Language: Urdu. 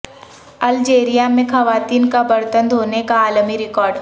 الجیریا میں خواتین کا برتن دھونے کا عالمی ریکارڈ